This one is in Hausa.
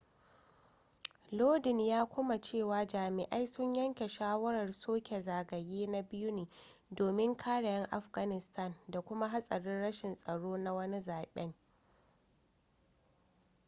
lodin ya kuma cewa jami'ai sun yanke shawarar soke zagaye na biyu ne domin kare 'yan afghanistan da kuma hatsarin rashin tsaro na wani zaben